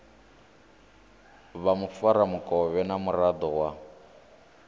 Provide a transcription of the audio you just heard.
vha mufaramukovhe na muraḓo wa